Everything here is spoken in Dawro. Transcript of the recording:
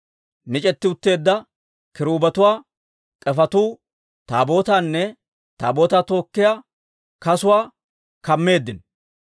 Mic'etti utteedda kiruubetuwaa k'efetuu Taabootaanne Taabootaa tookkiyaa kasuwaa kammeeddino.